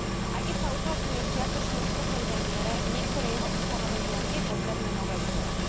Aj keď sa uplatňuje v čiastočne uspokojivej miere, niektoré jeho ustanovenia je potrebné novelizovať.